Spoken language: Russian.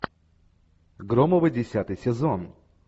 громовы десятый сезон